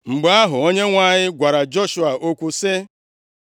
Mgbe ahụ, Onyenwe anyị gwara Joshua okwu sị,